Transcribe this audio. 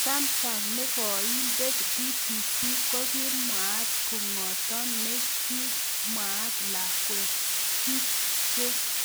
Samsung ne koindet BBC ko kimwaat, king'oton ne kimwaat lakwet, kit